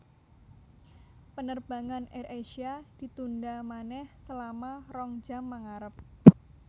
Penerbangan AirAsia ditunda maneh selama rong jam mengarep